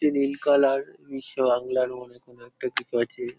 এটি নীল কালার বিশ্ব বাংলার মনে কোন একটা কিছু আছে।